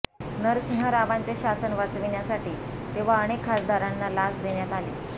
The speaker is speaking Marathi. नरसिंह रावांचे शासन वाचविण्यासाठी तेव्हा अनेक खासदारांना लाच देण्यात आली